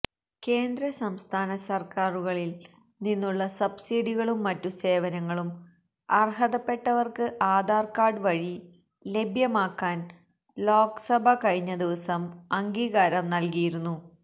കേന്ദ്ര സംസ്ഥാന സര്ക്കാരുകളില് നിന്നുള്ള സബ്സിഡികളും മറ്റു സേവനങ്ങളും അര്ഹതപ്പെട്ടവര്ക്ക് ആധാര്കാര്ഡ് വഴി ലഭ്യമാക്കാന് ലോക്സഭ കഴിഞ്ഞദിവസം അംഗീകാരം നല്കിയിരുന്നു